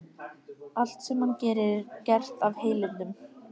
Allt sem hann gerir er gert af heilindum.